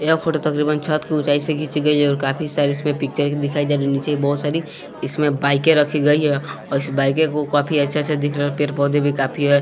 यह फोटो तकरीबन छत की ऊंचाई से खींची गई है और काफी सारी इसमें पिक्चर दिखाई जा रही है नीचे बहुत सारी इसमें बाइकें रखी गई है और इस बाइक को काफी अच्छा अच्छा दिख रहा है पेड़ पौधे भी काफी है।